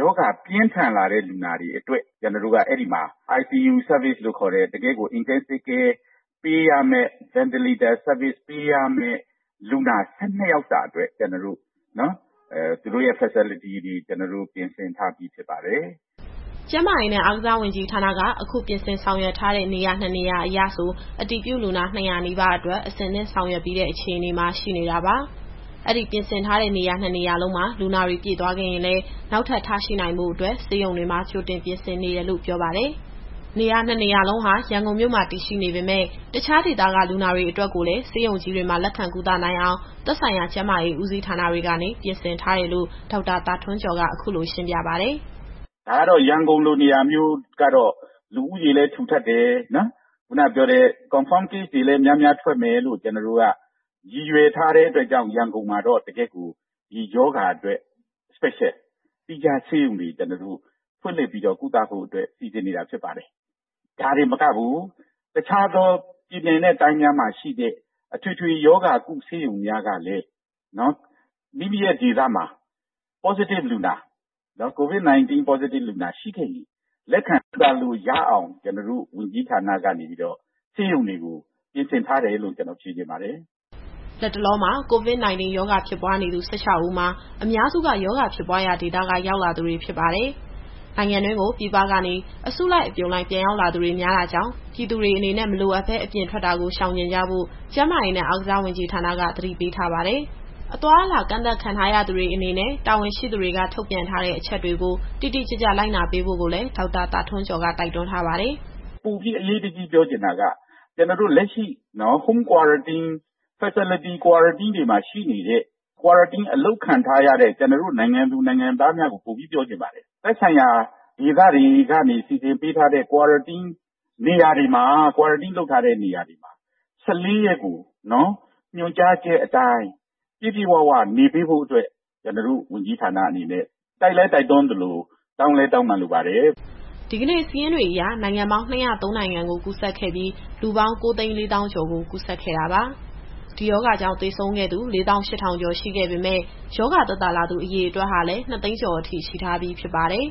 ရောဂါပြင်းထန်လာတဲ့လူနာတွေအတွက် ကျနော်တို့က အဲဒီမှာ ICU Service လို့ခေါ်တဲ့ တကယ့်ကို Intensive Care ပေးရမယ့် Ventilator ပေးရမယ့် လူနာ ၁၂ ယောက်စာအတွက် ပြင်ဆင်ထားပြီး ဖြစ်ပါတယ်။” ကျန်းမာရေးနဲ့ အားကစားဝန်ကြီးဌာနက အခုပြင်ဆင်ဆောင်ရွက်ထားတဲ့ နေရာနှစ်နေရာအရဆို အတည်ပြုလူနာ ၂၀၀ နီးပါးအတွက် အဆင်သင့်ဆောင်ရွက်ပြီးတဲ့ အခြေအနေမှာ ရှိနေတာပါ။ အဲဒီပြင်ဆင်ထားတဲ့ နေရာနှစ်နေရာလုံးမှာ လူနာတွေပြည့်သွားခဲ့ရင်လည်း နောက်ထပ်ထားရှိနိုင်ဖို့အတွက် ဆေးရုံတွေမှာ ကြိုတင်ပြင်ဆင်နေတယ်လို့ ပြောပါတယ်။ နေရာနှစ်နေရာလုံးဟာ ရန်ကုန်မြို့မှာ တည်ရှိနေပေမယ့် တခြားဒေသကလူနာတွေအတွက်ကိုလည်း ဆေးရုံကြီးတွေမှာ လက်ခံကုသနိုင်အောင် သက်ဆိုင်ရာကျန်းမာရေးဦးစီးဌာနတွေကနေ ပြင်ဆင်ထားတယ်လို့ ဒေါက်တာသာထွန်းကျော်က အခုလိုရှင်းပြပါတယ်။ “ရန်ကုန်လိုနေရာမျိုးကတော့ လူဦးရေလည်းထူထပ်တယ်။ ဓာတ်ခွဲအတည်ပြုလူနာတွေလည်း များများထွက်မယ်လို့ ရည်ရွယ်ထားတဲ့အတွက်ကြောင့် ရန်ကုန်မှာ ဒီရောဂါအတွက် သီးခြားဆေးရုံတွေဖွင့်လှစ်ပြီးတော့ ကုသဖို့အတွက် စီစဉ်နေတာဖြစ်ပါတယ်။ ဒါတင်မကဘူး တခြားသောပြည်နယ်နဲ့ တိုင်းတွေမှာရှိတဲ့ အထွေထွေရောဂါကုဆေးရုံများကလည်း ကိုယ့်ဒေသမှာ အတည်ပြုလူနာရှိခဲ့ရင် လက်ခံကုသလို့ရအောင် ကျနော်တို့ ဝန်ကြီးဌာနကနေပြီးတော့ ဆေးရုံတွေကို ပြင်ဆင်ထားပါတယ်။” လတ်တလောမှာ COVID-19 ရောဂါဖြစ်ပွားနေသူ ၁၆ ဦးမှာ အများစုက ရောဂါဖြစ်ပွားရာဒေသက ရောက်လာသူတွေ ဖြစ်ပါတယ်။ နိုင်ငံတွင်းကို ပြည်ပကနေ အစုလိုက်အပြုံလိုက် ပြန်ရောက်လာသူတွေ များတာကြောင့် ပြည်သူတွေအနေနဲ့ မလိုအပ်ဘဲ အပြင်ထွက်တာကို ရှောင်ကြဉ်ကြဖို့ ကျန်းမာရေးတာဝန်ရှိသူတွေက သတိပေးထားပါတယ်။ အသွားအလာ ကန့်သတ်ခံထားရသူတွေအနေနဲ့ တာဝန်ရှိသူတွေက ထုတ်ပြန်ထားတဲ့အချက်တွေကို တိတိကျကျလိုက်နာပေးဖို့ကိုလည်း ဒေါက်တာသာထွန်းကျော်က တိုက်တွန်းထားပါတယ်။ “ပိုပြီးအရေးတကြီးပြောချင်တာက လက်ရှိမှာ Home Quarantine ၊ Facility Quarantine အလုပ်ခံထားရတဲ့ ကျနော်တို့ နိုင်ငံသူ၊ နိုင်ငံသားတိုင်းကို ပိုပြီးတော့ပြောချင်ပါတယ်။ သက်ဆိုင်ရာဒေသတွေကနေ စီစဉ်ပေးထားတဲ့ နေရာတွေမှာ ၁၄ ရက်ကို ညွှန်ကြားချက်အတိုင်း ပြည့်ပြည့်ဝဝနေပေးဖို့အတွက် ကျနော်တို့ ဝန်ကြီးဌာနအနေနဲ့ တိုက်လည်းတိုက်တွန်းသလို၊ တောင်းလည်းတောင်းပန်လိုပါတယ်။” ဒီကနေ့စာရင်းတွေအရ နိုင်ငံပေါင်း၂၀၃ နိုင်ငံကို ကူးစက်ခဲ့ပြီး လူပေါင်း ၉၄၀,၀၀၀ ကျော်ကို ကူးစက်ခဲ့တာပါ။ ဒီရောဂါကြောင့် သေဆုံးခဲ့သူ ၄၈,၀၀၀ ကျော်ရှိခဲ့ပေမယ့် ရောဂါသက်သာလာသူ အရေအတွက်ဟာလည်း ၂၀၀,၀၀၀ ကျော်အထိရှိထားပြီး ဖြစ်ပါတယ်။